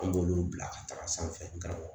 An b'olu bila ka taga sanfɛ karamɔgɔ